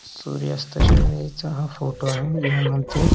सूर्यास्ताच्या वेळेचा हा फोटो आहे ह्यामध्ये.